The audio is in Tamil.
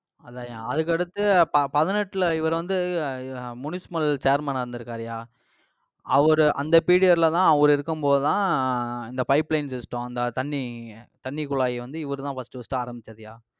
அதாய்யா அதுக்கு அடுத்து ப~ பதினெட்டுல இவர் வந்து அஹ் அஹ் municipal chairman ஆ, இருந்திருக்காருயா. அவரு, அந்த period ல தான் அவரு இருக்கும் போதுதான் அஹ் இந்த pipeline system இந்த தண்ணி தண்ணி குழாய் வந்து இவருதான் first first ஆரம்பிச்சதுய்யா